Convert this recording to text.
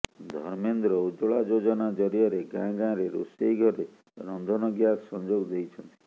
ଧର୍ମେନ୍ଦ୍ର ଉଜ୍ଜ୍ବଳା ଯୋଜନା ଜରିଆରେ ଗାଁ ଗାଁରେ ରୋଷେଇ ଘରେ ରନ୍ଧନ ଗ୍ୟାସ ସଂଯୋଗ ଦେଇଛନ୍ତି